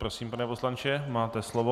Prosím, pane poslanče, máte slovo.